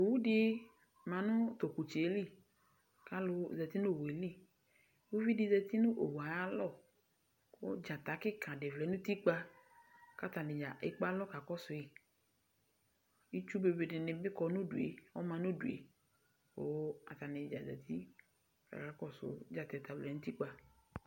Owu di ma nʋ tʋ ɔkʋtsɛ yɛ li kʋ alʋ zati nʋ owu yɛ li Uvi di zati nʋ owu yɛ ayalɔ kʋ dzata kika di vlɛ nʋ utikpa kʋ atanidza ekpe alɔ kakɔsʋ yi Itsu be be di ni bi kɔ nʋ udu e, ɔma nʋ udu e, kʋ atanidza zati kakakɔsʋ dzata yɛ ta ɔvlɛ nʋ utikpa